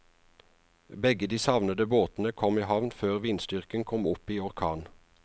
Begge de savnede båtene kom i havn før vindstyrken kom opp i orkan.